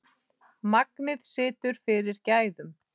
Magnið situr fyrir gæðum.